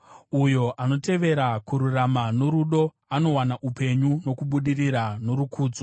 Uyo anotevera kururama norudo anowana upenyu, nokubudirira norukudzo.